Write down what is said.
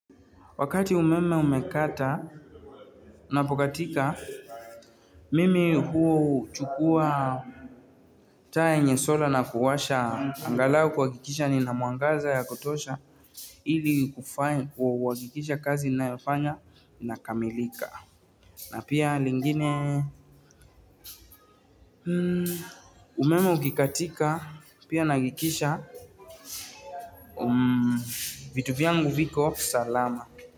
Wakati umeme umekata unapokatika mimi huchukua taa yenye sola na kuwasha angalau kuhakikisha nina mwangaza ya kutosha ili kuhakikisha kazi ninayofanya inakamilika na pia lingine umeme ukikatika pia nahakikisha vitu vyangu viko salama.